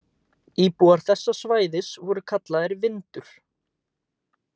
Íbúar þessa svæðis voru kallaðir Vindur.